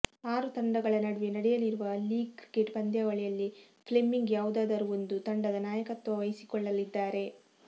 ಆರು ತಂಡಗಳ ನಡುವೆ ನಡೆಯಲಿರುವ ಲೀಗ್ ಕ್ರಿಕೆಟ್ ಪಂದ್ಯಾವಳಿಯಲ್ಲಿ ಫ್ಲೆಮಿಂಗ್ ಯಾವುದಾದರೂ ಒಂದು ತಂಡದ ನಾಯಕತ್ವ ವಹಿಸಿಕೊಳ್ಳಲಿದ್ದಾರೆ